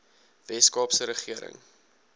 wes kaapse regering